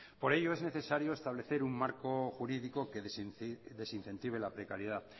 por ello es necesario establecer un marco jurídico que desincentive la precariedad